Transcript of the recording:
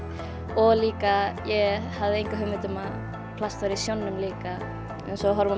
og líka ég hafði enga hugmynd um að plast væri í sjónum líka eins og í